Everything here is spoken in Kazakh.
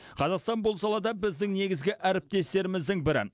қазақстан бұл салада біздің негізгі әріптестеріміздің бірі